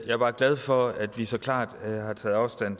er bare glad for at vi så klart har taget afstand